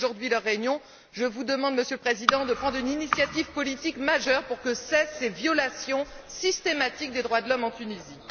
C'était aujourd'hui leur réunion. Je vous demande, Monsieur le Président, de prendre une initiative politique majeure pour que cessent ces violations systématiques des droits de l'homme en Tunisie.